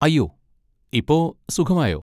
അയ്യോ, ഇപ്പൊ സുഖമായോ?